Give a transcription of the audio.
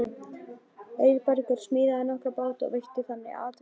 Auðbergur smíðaði nokkra báta og veitti þannig atvinnu.